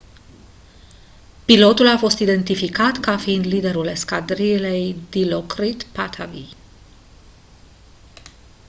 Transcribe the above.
pilotul a fost identificat ca fiind liderul escadrilei dilokrit pattavee